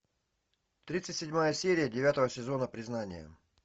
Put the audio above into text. тридцать седьмая серия девятого сезона признание